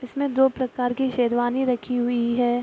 इसमें दो प्रकार की शेरवानी रखी हुई है।